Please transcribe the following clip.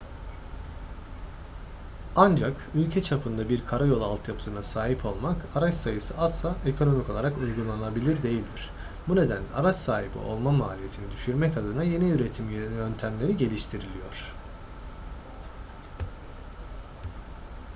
ancak ülke çapında bir karayolu altyapısına sahip olmak araç sayısı azsa ekonomik olarak uygulanabilir değildir bu nedenle araç sahibi olma maliyetini düşürmek adına yeni üretim yöntemleri geliştiriliyor